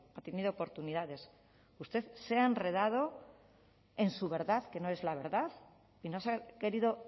ha tenido oportunidades usted se ha enredado en su verdad que no es la verdad y nos ha querido